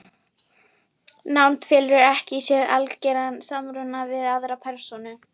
Það var líka bensín þarna úti um allt hús.